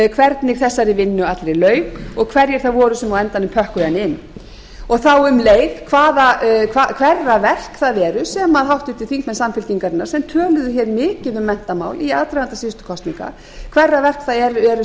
hvernig þessari vinnu allri lauk og hverjir það voru sem á endanum pökkuðu henni inn þá um leið hverra verk það eru sem háttvirtir þingmenn samfylkingarinnar sem töluðu mikið um menntamál í aðdraganda síðustu kosninga hverra verk það eru sem þeir